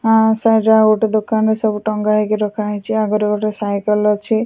ଆଁ ସାଇଡ ରେ ଆଉ ଗୋଟେ ଦୋକାନରେ ସବୁ ଟଙ୍ଗା ହେଇକି ରଖାହେଇଛି ଆଗରେ ଗୋଟେ ସାଇକେଲ ଅଛି ।